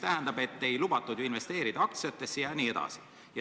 Neil ei lubatud investeerida aktsiatesse ja nii edasi.